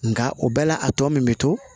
Nka o bɛɛ la a tɔ min bɛ to